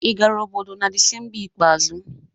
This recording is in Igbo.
ị gara obodo na Disemba ikpeazụ?